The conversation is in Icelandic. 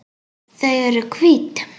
Þau eru hvít.